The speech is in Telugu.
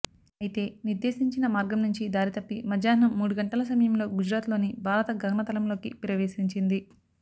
అయితే నిర్దేశించిన మార్గం నుంచి దారి తప్పి మధ్యాహ్నం మూడు గంటల సమయంలో గుజరాత్లోని భారత గగన తలంలోకి ప్రవేశించింది